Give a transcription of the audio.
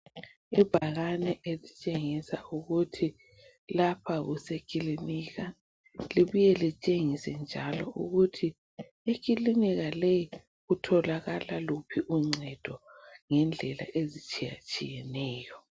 Ibhakane elitshengisa ukuthi lapha usekilinika libuye litshengise njalo ukuthi ekilinika leyi kutholakala luphi uncedo ngendlela ezitshiyeneyo